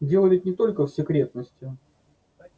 дело ведь не только в секретности